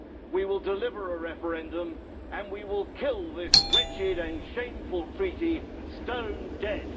We will deliver a referendum and we will kill this wretched and shameful Treaty stone dead.